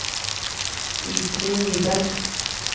Iselin Nyberg